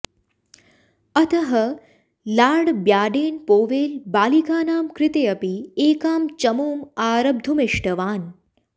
अतः Lord Baden Powell बालिकानां कृते अपि एकां चमूम् आरब्धुमिष्टवान्